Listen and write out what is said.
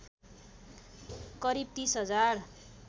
करिब ३० हजार